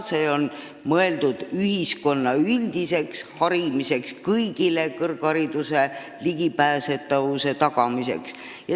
See on mõeldud ühiskonna üldiseks harimiseks, kõigile kõrghariduse ligipääsetavuse tagamiseks.